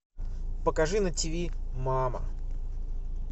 покажи на ти ви мама